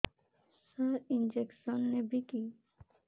ସାର injection ନେବିକି